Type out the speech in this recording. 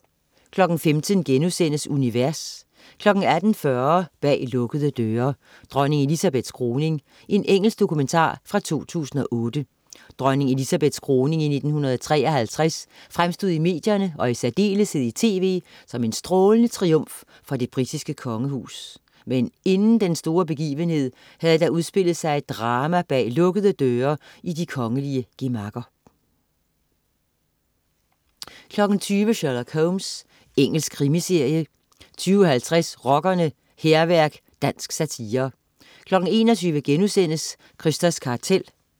15.00 Univers* 18.40 Bag lukkede døre: Dronning Elizabeths kroning. Engelsk dokumentar fra 2008. Dronning Elizabeths kroning i 1953 fremstod i medierne og i særdeleshed i tv som en strålende triumf for det britiske kongehus. Men inden den store begivenhed havde der udspillet sig et drama bag lukkede døre i de kongelige gemakker 20.00 Sherlock Holmes. Engelsk krimiserie 20.50 Rockerne: Hærværk. Dansk satire 21.00 Krysters kartel*